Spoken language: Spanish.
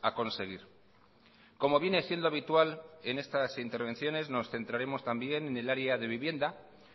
a conseguir como viene siendo habitual en estas intervenciones nos centraremos también en el área de vivienda